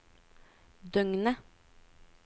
døgnet